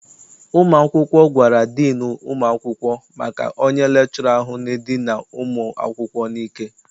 Ụmụ akwụkwọ gwara diinu ụmụ akwụkwọ maka onye lekchọra ahụ na-edina ụmụ akwụkwọ n'ike.